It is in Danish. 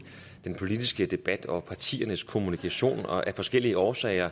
den politiske debat og partiernes kommunikation og som af forskellige årsager